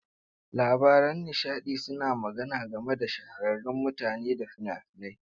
Labaran nishaɗi suna magana game da shahararrun mutane da fina-finai.